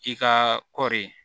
I ka kɔɔri